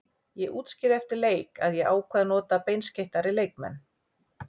Ég útskýrði eftir leik að ég ákvað að nota beinskeyttari leikmenn.